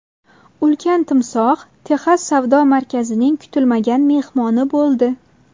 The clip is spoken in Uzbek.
Ulkan timsoh Texas savdo markazining kutilmagan mehmoni bo‘ldi .